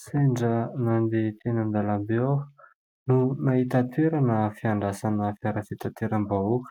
Sendra nandeha tena an-dalambe aho no nahita toerana fiandrasana fiara fitanteram-bahoaka,